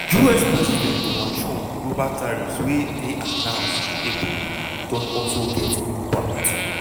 us president donald trump global tariffs wey dey announced in april don also get impact.